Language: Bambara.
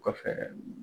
Kɔfɛ